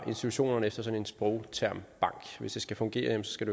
institutionerne efter sådan en sprogtermbank hvis det skal fungere skal